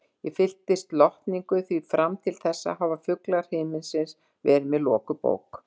Ég fyllist lotningu, því fram til þessa hafa fuglar himins verið mér lokuð bók.